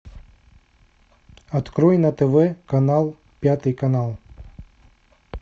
открой на тв канал пятый канал